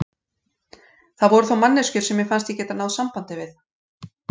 Það voru þó manneskjur sem mér fannst ég geta náð sambandi við.